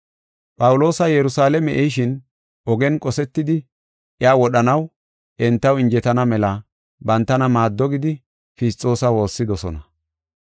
Phawuloosa Yerusalaame ehishin ogen qosetidi iya wodhanaw entaw injetana mela bantana maaddo gidi Fisxoosa woossidosona.